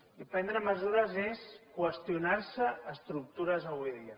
i prendre mesures és qüestionar se estructures avui dia